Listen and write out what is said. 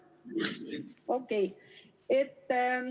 Okei.